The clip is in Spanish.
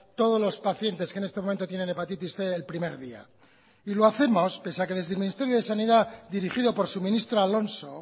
todos los pacientes que en este momento tienen hepatitis cien el primer día lo hacemos pese a que desde el ministerio de sanidad dirigido por su ministro alonso